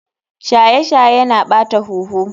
Shaye shaye Yana ɓata huhu.